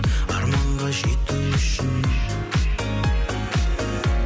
арманға жету үшін